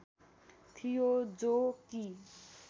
थियो जो कि